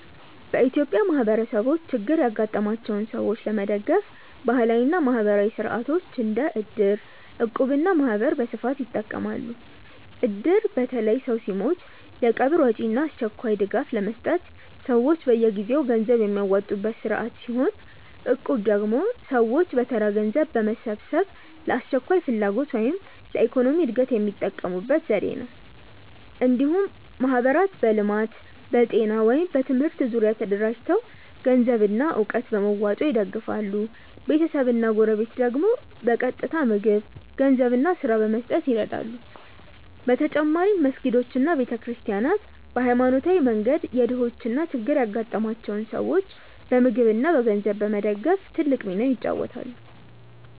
በኢትዮጵያ ማህበረሰቦች ችግር ያጋጠማቸውን ሰዎች ለመደገፍ ባህላዊ እና ማህበራዊ ሥርዓቶች እንደ እድር፣ እቁብ እና ማህበር በስፋት ይጠቀማሉ። እድር በተለይ ሰው ሲሞት የቀብር ወጪ እና አስቸኳይ ድጋፍ ለመስጠት ሰዎች በየጊዜው ገንዘብ የሚያዋጡበት ስርዓት ሲሆን፣ እቁብ ደግሞ ሰዎች በተራ ገንዘብ በመሰብሰብ ለአስቸኳይ ፍላጎት ወይም ለኢኮኖሚ እድገት የሚጠቀሙበት ዘዴ ነው። እንዲሁም ማህበራት በልማት፣ በጤና ወይም በትምህርት ዙሪያ ተደራጅተው ገንዘብና እውቀት በመዋጮ ይደግፋሉ፤ ቤተሰብና ጎረቤት ደግሞ በቀጥታ ምግብ፣ ገንዘብ እና ስራ በመስጠት ይረዱ። በተጨማሪም መስጊዶች እና ቤተ ክርስቲያናት በሃይማኖታዊ መንገድ የድሆችን እና ችግር ያጋጠማቸውን ሰዎች በምግብ እና በገንዘብ በመደገፍ ትልቅ ሚና ይጫወታሉ።